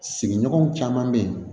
Sigiɲɔgɔn caman be yen